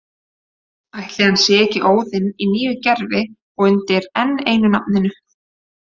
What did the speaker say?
Ætli hann sé ekki Óðinn í nýju gervi og undir enn einu nafninu?